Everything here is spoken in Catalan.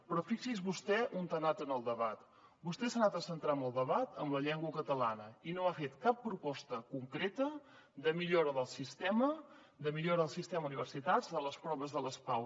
però fixi’s vostè on ha anat en el debat vostè s’ha anat a centrar en el debat en la llengua catalana i no ha fet cap proposta concreta de millora del sistema de millora del sistema d’universitats de les proves de les pau